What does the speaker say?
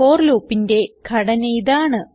four loopന്റെ ഘടന ഇതാണ്